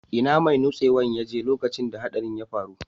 Ina mai nutsewan ya je lokacin da hatsarin ya faru?